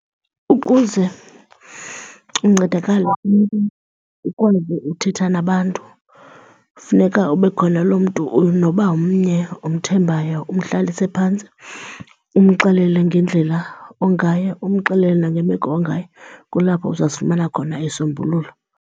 Ukuze uncedakale ukwazi uthetha nabantu kufuneka ube khona lo mntu noba mnye umthembayo umhlalise phantsi umxelele ngendlela ongayo, umxelele nangemeko ongayo. Kulapho uzawusifumana khona isisombululo.